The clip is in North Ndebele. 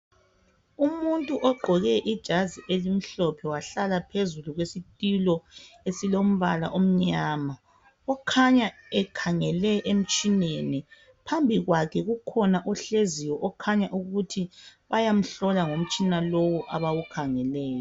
Umuntu ogqoke ijazi elimhlophe wahlala phezu kwesitulo esilombala omnyama ukhanya ekhangele emtshineni phambi kwakhe kukhona ohleziyo okhanya ukuthi bayamhlola ngomtshina lowu abawukhangeleyo.